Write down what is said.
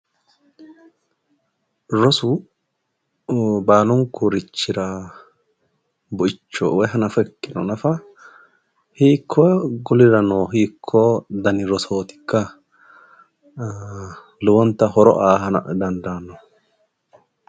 Rosu baalunkurichira buicho woyi hanafo ikkiro nafa hiikko golirano hiikko dani rosootikka? lowonta horo aa dandaanno.